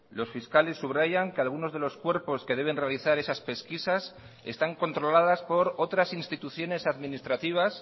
los fiscales subrayan que algunos de los cuerpos que deben realizar esas pesquisas están controladas por otras instituciones administrativas